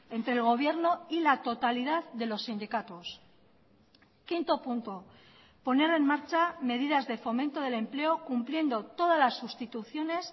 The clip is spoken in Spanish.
entre el gobierno y la totalidad de los sindicatos quinto punto poner en marcha medidas de fomento del empleo cumpliendo todas las sustituciones